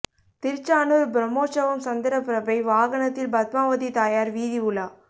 திருச்சானூர் பிரமோற்சவம் சந்திர பிரபை வாகனத்தில் பத்மாவதி தாயார் வீதி உலா